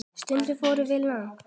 Stundum fórum við langt.